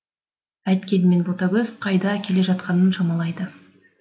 әйткенмен ботагөз қайда келе жатқанын шамалайды